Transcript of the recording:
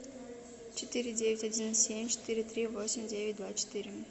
четыре девять один семь четыре три восемь девять два четыре